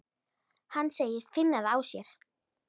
Hann segist finna það á sér.